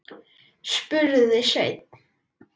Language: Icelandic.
spurði Sveinn.